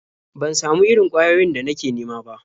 Ban samu irin ƙwayoyin da nake nema ba.